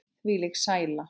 Þvílík sæla.